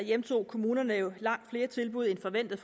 hjemtog kommunerne jo langt flere tilbud end forventet